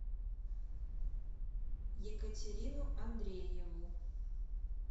екатерину андрееву